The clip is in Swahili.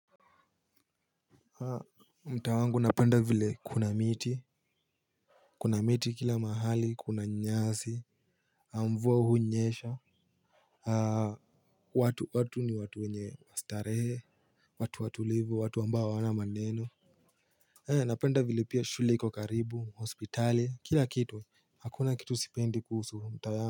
Mtaa wangu napenda vile kuna miti kuna miti kila mahali kuna nyasi na mvua hunyesha watu watu ni watu wenye wa starehe watu watulivu watu ambao wana maneno napenda vile pia vile shule iko karibu hospitali kila kitu hakuna kitu sipendi kuhusu mtaa wangu.